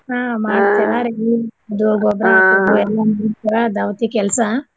ಹಾ ಉದ್ಯೋಗ ದವತಿ ಕೆಲ್ಸಾ.